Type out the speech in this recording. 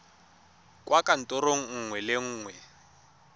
kwa kantorong nngwe le nngwe